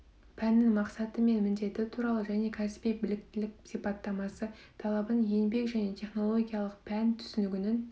пәннің мақсаты мен міндеті туралы және де кәсіби біліктілік сипаттамасы талабын еңбек және технологиялық пән түсінігінің